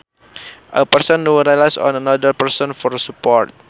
A person who relies on another person for support